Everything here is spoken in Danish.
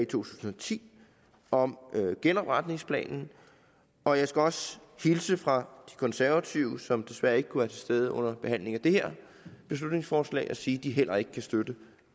tusind og ti om genopretningsplanen og jeg skal også hilse fra de konservative som desværre ikke kunne være til stede under behandlingen af det her beslutningsforslag og sige at de heller ikke kan støtte